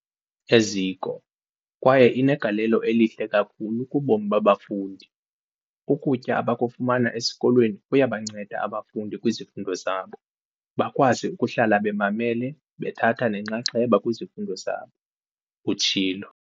"eziko kwaye inegalelo elihle kakhulu kubomi babafundi. Ukutya abakufumana esikolweni kuyabanceda abafundi kwizifundo zabo, bakwazi ukuhlala bemamele bethatha nenxaxheba kwizifundo zabo," utshilo.